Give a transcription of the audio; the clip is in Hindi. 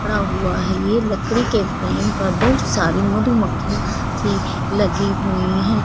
खड़ा हुआ हैं ये लकड़ी के फ्रेम पर बहुत सारी मधुमखियां भी लगी हुई हैं।